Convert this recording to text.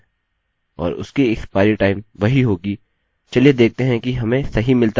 और उसकी expiry time वही होगी चलिए देखते हैं कि हमें सही मिलता है या नहीं